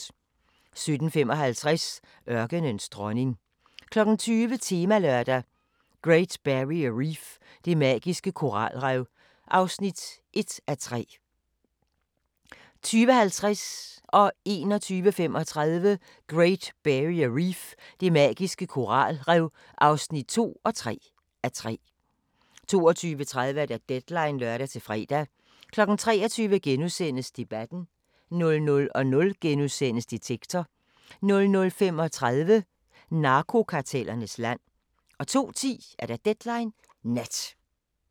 17:55: Ørkenens dronning 20:00: Temalørdag: Great Barrier Reef – det magiske koralrev (1:3) 20:50: Great Barrier Reef – det magiske koralrev (2:3) 21:35: Great Barrier Reef – det magiske koralrev (3:3) 22:30: Deadline (lør-fre) 23:00: Debatten * 00:00: Detektor * 00:35: Narkokartellernes land 02:10: Deadline Nat